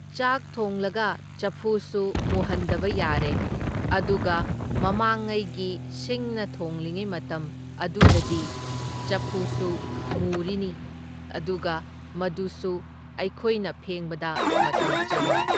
ꯆꯥꯛ ꯊꯣꯡꯂꯒ ꯆꯐꯨꯁꯨ ꯃꯨꯍꯟꯗꯕ ꯌꯥꯔꯦ, ꯑꯗꯨꯒ ꯃꯃꯥꯡꯉꯩꯒꯤ ꯁꯤꯡꯅ ꯊꯣꯡꯂꯤꯉꯩ ꯃꯇꯝ ꯑꯗꯨꯗꯗꯤ ꯆꯐꯨꯁꯨ ꯃꯨꯔꯤꯅꯤ ꯑꯗꯨꯒ ꯃꯗꯨꯁꯨ ꯑꯩꯈꯣꯏꯅ ꯐꯦꯡꯕꯗ ꯃꯇꯝ ꯆꯪꯏ꯫